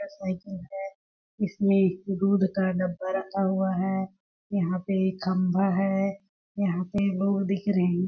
यह साइकिल है इसमें दूध का डब्बा रखा हुआ है यहाँ पे एक खम्भा है यहाँ पे लोग दिख रहे है।